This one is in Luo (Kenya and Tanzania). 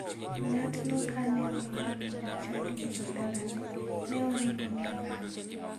Ng'atno kane owinjo ni jochadi biro dalane, ne oringo mi olal.